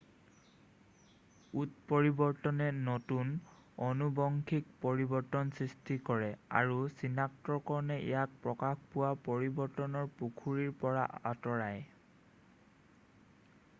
উৎপৰিবৰ্তনে নতুন আনুবংশীক পৰিৱৰ্তন সৃষ্টি কৰে আৰু চিনাক্তকৰণে ইয়াক প্ৰকাশ পোৱা পৰিৱৰ্তনৰ পুখুৰীৰ পৰা আঁতৰাই